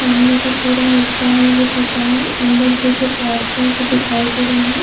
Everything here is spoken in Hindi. सामने का पुरा हिस्सा है वो टूटा है अंदर के जो पार्टस है वो दिखाई दे रहै है।